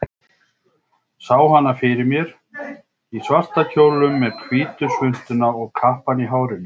Sá hana fyrir mér í svarta kjólnum, með hvítu svuntuna og kappann í hárinu.